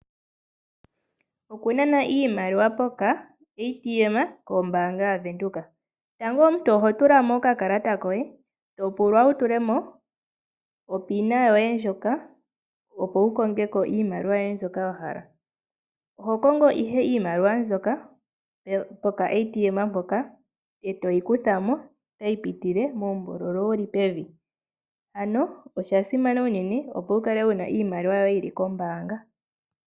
Oku nana iimaliwa pokaATM kombaanga yaVenduka Tango omuntu oho tula mo okakalata koye to pulwa wu tule mo onomola yoye yomeholamo, opo wu konge ko iimaliwa yoye mbyoka wa hala. Oho kongo ihe iimaliwa mbyoka peshina lyopondje, e toyi kutha mo tayi pitile muumbululu wu li pevi. Osha simana unene, opo wu kale wu na iimaliwa yoye yi li kombaanga.